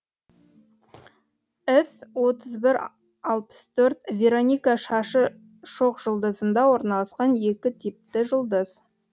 іс отыз бір алпыс төрт вероника шашы шоқжұлдызында орналасқан екі типті жұлдыз